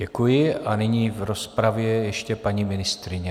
Děkuji a nyní v rozpravě ještě paní ministryně.